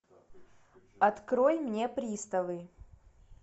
открой мне приставы